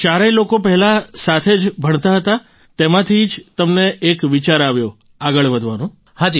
અને ચારેય લોકો પહેલાં સાથે જ ભણતાં હતા અને તેમાંથી જ તમને એક વિચાર આવ્યો આગળ વધવાનો